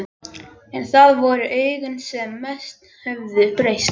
En það voru augun sem mest höfðu breyst.